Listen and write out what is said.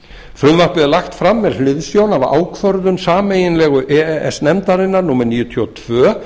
frumvarpið er lagt fram með hliðsjón af ákvörðun sameiginlegu e e s nefndarinnar númer níutíu og tvö